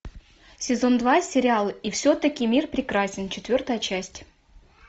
сезон два сериал и все таки мир прекрасен четвертая часть